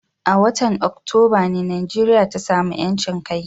A watan Oktoba ne Najeriya ta sami ƴancin kai.